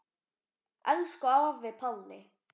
Elsku afi Palli.